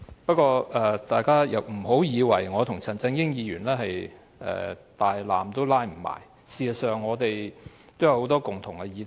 不過，大家不要以為我與陳議員互不相干，事實上，我們有很多共同議題。